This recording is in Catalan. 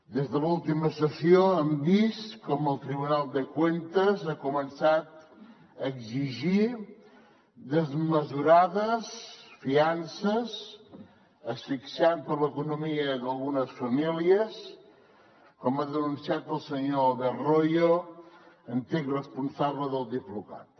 des de l’última sessió hem vist com el tribunal de cuentas ha començat a exigir desmesurades fiances asfixiant l’economia d’algunes famílies com ha denunciat el senyor albert royo antic responsable del diplocat